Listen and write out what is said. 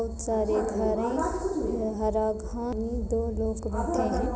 बहुत सारे घर हैं हरा घास पानी दो लोग बैठे ।